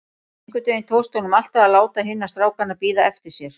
Einhvern veginn tókst honum alltaf að láta hina strákana bíða eftir sér.